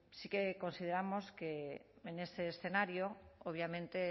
sí que consideramos que en ese escenario obviamente